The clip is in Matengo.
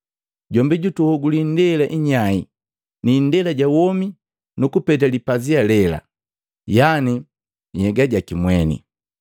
Jombi jutuhoguli indela inyai na indela ja womi nu kupete lipazia lela, yani nhyega jaki mweni.